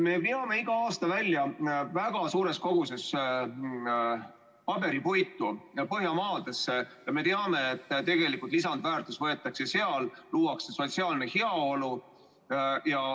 Me veame iga aasta välja väga suures koguses paberipuitu Põhjamaadesse ja me teame, et tegelikult lisandväärtus tekitatakse seal, luuakse sotsiaalne heaolu.